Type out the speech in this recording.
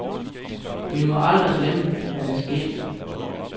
Vi må aldrig glemme, hvad der skete.